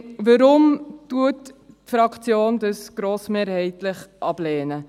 Warum lehnt die Fraktion dies grossmehrheitlich ab?